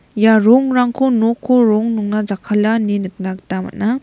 ia rongrangko noko rong nongna jakkala ine nikna gita man·a.